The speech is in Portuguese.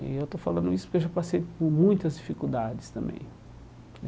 E eu estou falando isso porque eu já passei por muitas dificuldades também.